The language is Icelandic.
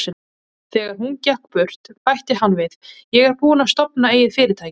Þegar hún gekk burt, bætti hann við: Ég er búinn að stofna eigið fyrirtæki.